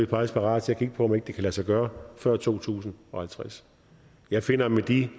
parate til at kigge på om ikke det kan lade sig gøre før to tusind og halvtreds jeg finder at med de